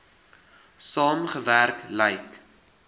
saam gewerk lyk